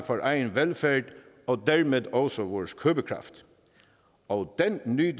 for egen velfærd og dermed også vores købekraft og den nyder